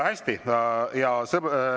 Hästi!